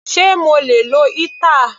Sé mo lè lo heater?.